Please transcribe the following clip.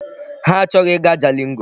Ha achọghị ịga Jalingo.